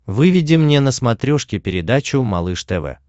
выведи мне на смотрешке передачу малыш тв